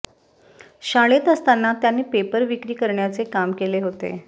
शाळेत असताना त्यांनी पेपर विक्री करण्याचे काम केले होते